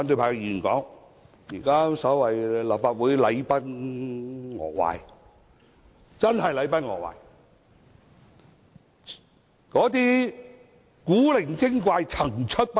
我同意立法會真是禮崩樂壞，古靈精怪層出不窮。